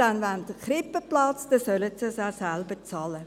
Wenn sie einen Krippenplatz wollen, sollen sie ihn auch selber bezahlen.